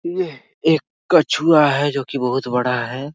यह एक कछुआ है जो की बहुत बड़ा है ।